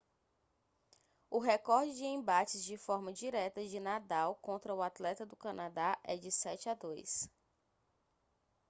o recorde de embates de forma direta de nadal contra o atleta do canadá é de 7-2